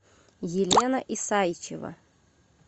елена исайчева